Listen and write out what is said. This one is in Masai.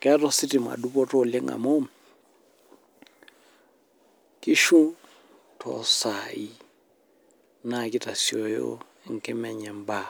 Keeta ositima dupoto oleng amu nkishu tosai naa kitasioyo Enkima enye mbaa